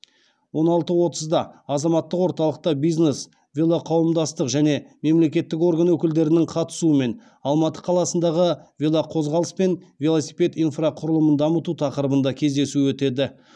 он алты отызда азаматтық орталықта бизнес велоқауымдастық және мемлекеттік орган өкілдерінің қатысуымен алматы қаласындағы велоқозғалыс пен велосипед инфрақұрылымын дамыту тақырыбында кездесу өтеді